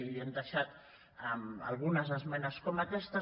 i hem deixat algunes esmenes com aquestes